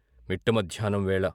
మిట్ట మధ్యాహ్నం వేళ.